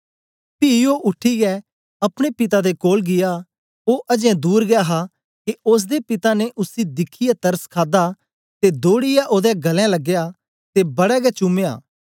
पी ओ उठीयै अपने पिता दे कोल गीया ओ अजें दूर गै हा के ओसदे पिता ने उसी दिखियै तरस खादा ते दौड़ीयै ओदे गल्लें लगाया ते बड़ा गै चूमया